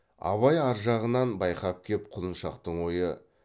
абай ар жағынан байқап кеп құлыншақтың ойы